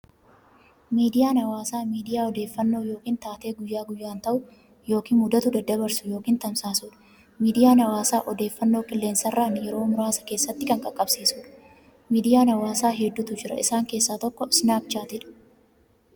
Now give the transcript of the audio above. Miidiyaan hawaasaa miidiyaa odeeffannoo yookiin taatee guyyaa guyyaan ta'u yookiin mudatu daddabarsu yookiin tamsaasudha. Miidiyaan hawaasaa odeeffannoo qilleensarraan yeroo muraasa keessatti kan qaqqabsiisudha. Miidiyaan hawaasaa hedduutu jira. Isaan keessaa tokko Snapchatdha.